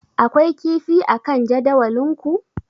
Akwai kifi akan jadawalinku?